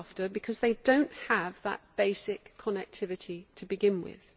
because they do not have that basic connectivity to begin with.